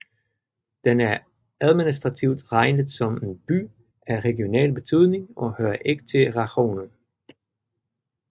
Den er administrativt regnet som en By af regional betydning og hører ikke til rajonen